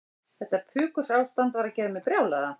Þetta pukurástand var að gera mig brjálaða.